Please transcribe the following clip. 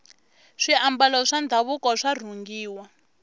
swiambalo swa ndhavuko swa rhungiwa